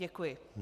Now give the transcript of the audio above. Děkuji.